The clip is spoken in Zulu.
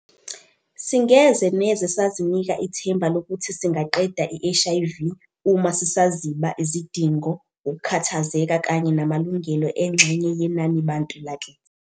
Singeze neze sazinika ithemba lokuthi singaqeda i-HIV uma sisaziba izidingo, ukukhathazeka kanye namalungelo engxenye yenanibantu lakithi.